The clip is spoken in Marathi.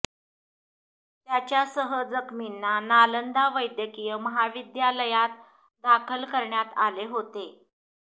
त्याच्यासह जखमींना नालंदा वैद्यकीय महाविद्यालयात दाखल करण्यात आले होते